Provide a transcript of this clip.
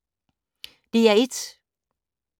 DR1